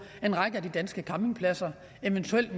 en række af de danske campingpladser eventuelt